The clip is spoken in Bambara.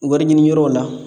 Wɔri ɲiniyɔrɔ la